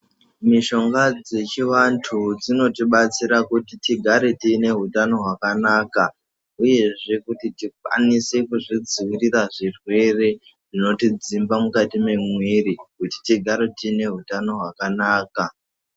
Mishonga dzechivantu dzinotibatsira kuti tigare tiine hutano hwakanaka, uyezve kuti tikwanise kuzvidzivirira zvirwere zvinotidzimba mukati memwiri kuti tigare tiine hutano hwakanaka.